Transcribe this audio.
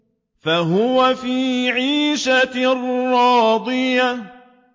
فَهُوَ فِي عِيشَةٍ رَّاضِيَةٍ